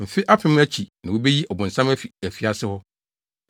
Mfe apem no akyi na wobeyi ɔbonsam afi afiase hɔ;